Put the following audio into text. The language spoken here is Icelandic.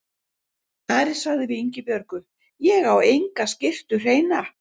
Ari sagði við Ingibjörgu:-Ég á enga skyrtu hreina.